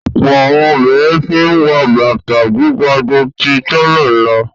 Ọ̀pọ̀ àwọn obìnrin tí ń wọ bàtà gíga ju tí tẹ́lẹ̀ lọ.